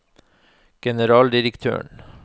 generaldirektøren